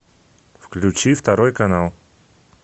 включи второй канал